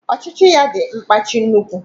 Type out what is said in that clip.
Ochichi ya di nkpachi nnukwu